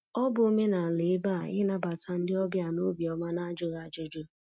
Ọ bụ omenala ebe a ịnabata ndị ọbịa n'obi ọma n'ajụghị ajụjụ.